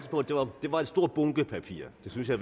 det var en stor bunke papirer det synes jeg